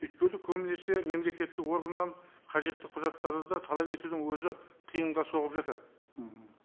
өйткені көбінесе мемлекеттік органнан қажетті құжаттарды да талап етудің өзі қиынға соғып жатады мхм